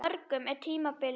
Hjá mörgum er tímabil anna.